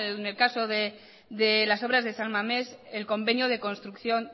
en el caso de las obras de san mamés el convenio de construcción